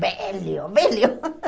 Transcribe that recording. Velho, velho.